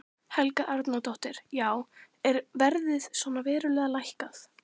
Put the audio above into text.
Helga Arnardóttir: Já er verðið svona verulega lækkað?